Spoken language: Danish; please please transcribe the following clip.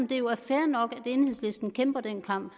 det jo er fair nok at enhedslisten kæmper den kamp